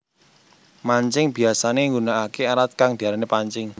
Mancing biyasané nggunakaké alat kang diarani pancing